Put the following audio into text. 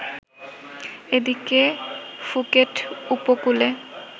এদিকে ফুকেট উপকূলে